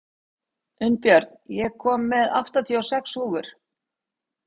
Unnbjörn, ég kom með áttatíu og sex húfur!